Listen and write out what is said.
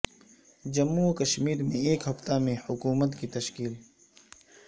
جموں و کشمیر میں ایک ہفتہ میں حکومت کی تشکیل